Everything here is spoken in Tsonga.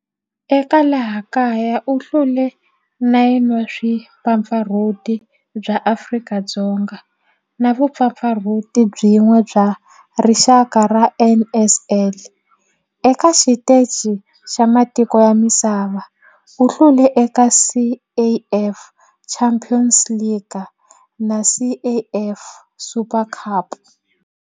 Eka laha kaya u hlule 9 wa vumpfampfarhuti bya Afrika-Dzonga na vumpfampfarhuti byin'we bya rixaka bya NSL. Eka xiteji xa matiko ya misava, u hlule eka CAF Champions League na CAF Super Cup.